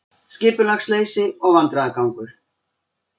Skipulagsleysi og vandræðagangur